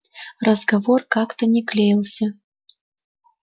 разговор как-то не клеился